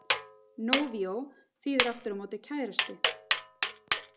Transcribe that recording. Novio þýðir aftur á móti kærasti.